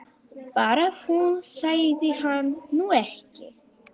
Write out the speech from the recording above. Bara að hún sæi hann nú ekki!